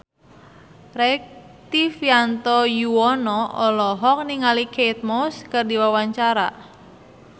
Rektivianto Yoewono olohok ningali Kate Moss keur diwawancara